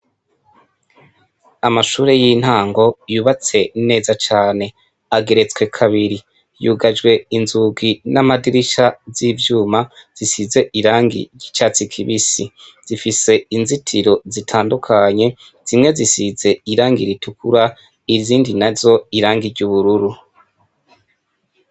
Amashure y'intango yubatse neza cane ageretswe kabiri yugajwe inzugi n'amadirisha z'ivyuma zisize irangi gicatsi kibisi zifise inzitiro zitandukanye zimwe zisize irangi iritukura ivyindi na zo irangirye ubururu aaaa.